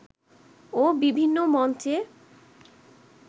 ও বিভিন্ন মঞ্চে